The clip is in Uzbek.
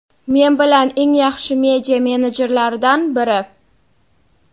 Men bilgan eng yaxshi media menedjerlardan biri.